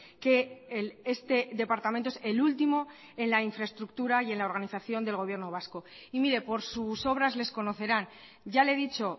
que este departamento es el último en la infraestructura y en la organización del gobierno vasco y mire por sus obras les conocerán ya le he dicho